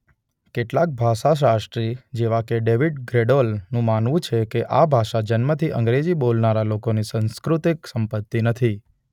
કેટલાક ભાષાશાસ્ત્રી જેવા કે ડેવિડ ગ્રેડોલ નું માનવું છે કે આ ભાષા જન્મથી અંગ્રેજી બોલનારા લોકોની સંસ્કૃતિક સંપત્તિ નથી.